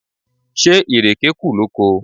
Ṣé ìrèké kù lóko?